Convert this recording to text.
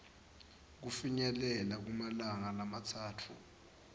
kufinyelela kumalanga lamatsatfu